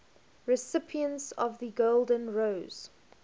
recipients of the golden rose